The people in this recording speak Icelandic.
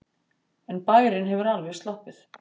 En bærinn hefur alveg sloppið.